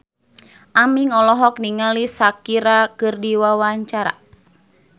Aming olohok ningali Shakira keur diwawancara